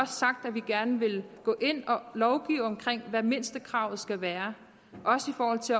sagt at vi gerne vil gå ind og lovgive om hvad mindstekravet skal være også i forhold til